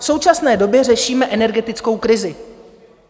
V současné době řešíme energetickou krizi.